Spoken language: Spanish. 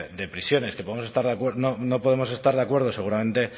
de prisiones que no podemos estar de acuerdo seguramente